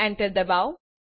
enter ડબાઓ